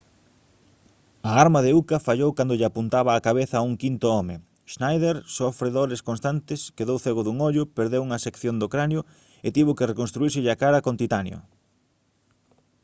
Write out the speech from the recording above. a arma de uka fallou cando lle apuntaba á cabeza a un quinto home schneider sofre dores constantes quedou cego dun ollo perdeu unha sección do cranio e tivo que reconstruírselle a cara con titanio